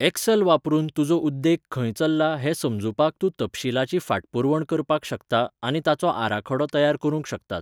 Axle वापरून, तुजो उद्देग खंय चल्ला हें समजुपाक तूं तपशीलाची फाटपुरवण करपाक शकता आनी ताचो आराखडो तयार करूंक शकतात.